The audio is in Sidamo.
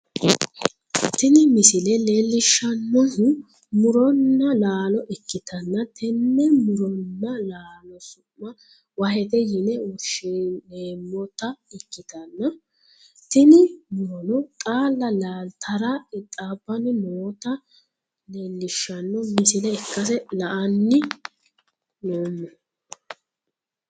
tini misile leellishshannohu muronna laalo ikkitanna, tenne muronna laalo su'ma wahete yine woshshineemmota ikkitanna, tini murono xaalla laaltara qixxaabbanni nootta leellishshanno misile ikkase la'anni noommo.